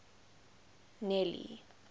nelly